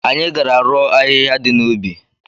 Anyị gara rụọ ahịhịa dị n'ubi.